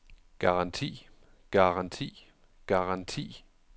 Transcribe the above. garanti garanti garanti